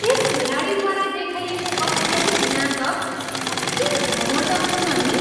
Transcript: त्यस खेलाडीद्वारा देखाएको अत्यधिक नाटक कति घमण्डपूर्ण नि!